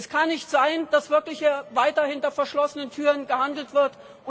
Es kann nicht sein, dass wirklich weiter hinter verschlossenen Türen gehandelt wird.